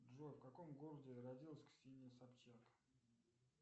джой в каком городе родилась ксения собчак